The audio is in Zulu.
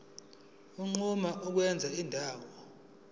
unquma ukwenza indawo